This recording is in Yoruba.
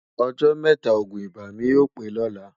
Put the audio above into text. ọ̀jọ́ métà ògún ibà mí yọ̀ pé lọ̀lá